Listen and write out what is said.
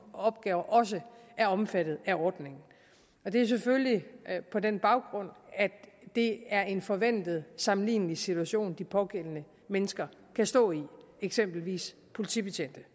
opgaver også er omfattet af ordningen det er selvfølgelig på den baggrund at det er en forventet sammenlignelig situation de pågældende mennesker kan stå i eksempelvis politibetjente det